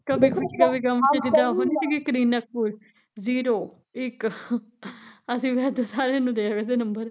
ਕਦੇ ਖੁਸ਼ੀ ਕਦੇ ਗਮ ਚ ਜਿਦਾਂ ਉਹ ਨੀ ਸੀਗੀ ਕਰੀਨਾ ਕਪੂਰ ਜੀਰੋ ਇੱਕ ਅਸੀਂ ਵੀ ਏਦਾ ਸਾਰਿਆ ਨੂੰ ਦਇਆ ਕਰਦੀਆਂ ਨੰਬਰ